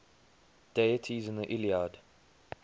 deities in the iliad